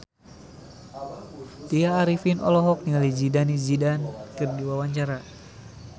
Tya Arifin olohok ningali Zidane Zidane keur diwawancara